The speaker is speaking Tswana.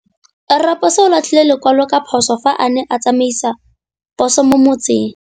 Raposo o latlhie lekwalô ka phosô fa a ne a tsamaisa poso mo motseng.